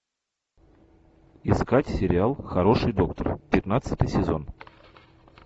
искать сериал хороший доктор пятнадцатый сезон